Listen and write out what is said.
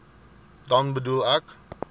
dan bedoel ek